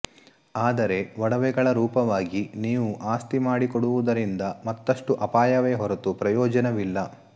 ಆದರೆ ಒಡವೆಗಳ ರೂಪವಾಗಿ ನೀವು ಆಸ್ತಿ ಮಾಡಿ ಕೊಡುವುದರಿಂದ ಮತ್ತಷ್ಟು ಅಪಾಯವೇ ಹೊರತು ಪ್ರಯೋಜನವಿಲ್ಲ